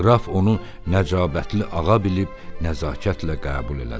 Qraf onu nəcabətli ağa bilib nəzakətlə qəbul elədi.